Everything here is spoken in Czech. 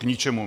K ničemu.